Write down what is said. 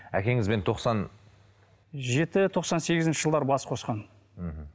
әкеңізбен тоқсан жеті тоқсан сегізінші жылдары бас қосқан мхм